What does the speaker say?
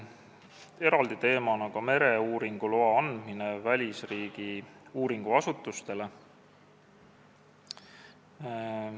Eraldi teema oli ka mereuuringuloa andmine välisriigi uuringuasutusele.